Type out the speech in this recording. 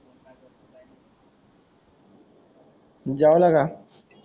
जेवल का